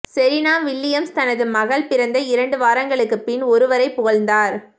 Serena Williams தனது மகள் பிறந்து இரண்டு வாரங்களுக்குப் பின் ஒருவரைப் புகழ்ந்தார்